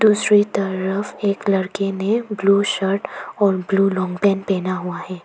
दूसरी तरफ एक लड़के ने ब्लू शर्ट और ब्लू लांग पैंट पहना हुआ है।